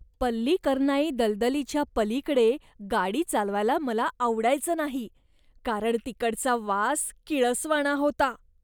पल्लिकरनाई दलदलीच्या पलीकडे गाडी चालवायला मला आवडायचं नाही, कारण तिकडचा वास किळसवाणा होता.